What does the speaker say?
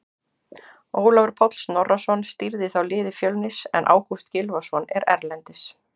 Ólafur Páll Snorrason stýrði þá liði Fjölnis en Ágúst Gylfason er erlendis.